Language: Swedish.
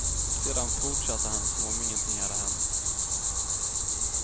Sedan fortsatte han som om ingenting hade hänt.